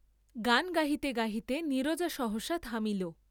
গান গাহিতে গাহিতে নীরজা সহসা থামিল।